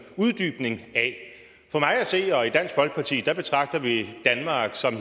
uddybning af i dansk folkeparti betragter vi danmark som